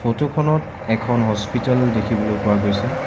Photo খনত এখন hospital দেখিবলৈ পোৱা গৈছে।